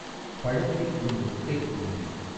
பழத்தில் உன் முக்கை ஊன்றி